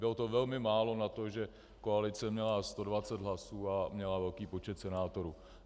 Bylo to velmi málo na to, že koalice měla 120 hlasů a měla velký počet senátorů.